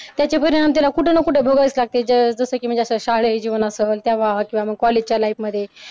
त्याचे परिणाम त्याला कुठे ना कुठे भोगावेच लागतील जसं की अस शालेय जीवन असलं तेव्हा किंवा मग कॉलेजच्या life मध्ये